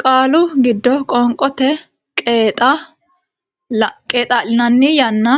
qaalu giddo qoonqote Qeexaa linanni yaanno